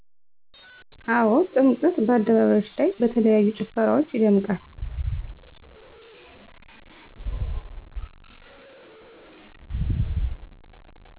አው ጥምቀት በአደባባዮች ላይ በተለያዩ ጭፈራወች ይደምቃል